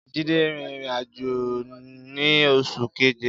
Jide rin irin-ajo ni Oṣu Keje